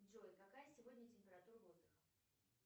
джой какая сегодня температура воздуха